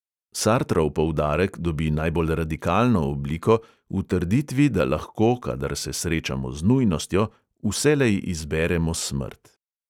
Sartrov poudarek dobi najbolj radikalno obliko v trditvi, da lahko, kadar se srečamo z nujnostjo, vselej izberemo smrt.